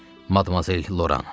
Madmazel Loran.